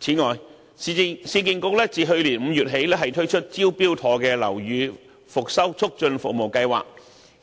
此外，市建局自去年5月起推出"招標妥"樓宇復修促進服務計劃，